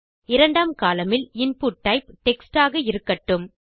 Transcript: இரண்டாம் கோலம்ன் இல் input type text ஆக இருக்கட்டும்